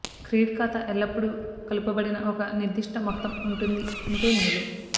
credit ఖాతా ఎల్లప్పుడూ కలుపబడిన ఒక నిర్దిష్ట మొత్తం ఉంటుంది ఉంటే మేలు